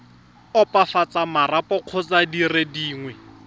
opafatsa marapo kgotsa dire dingwe